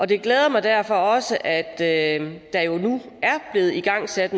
det glæder mig derfor også at der jo nu er blevet igangsat